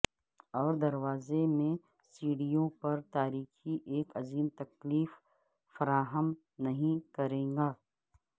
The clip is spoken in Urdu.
اور دروازے میں سیڑھیوں پر تاریکی ایک عظیم تکلیف فراہم نہیں کرے گا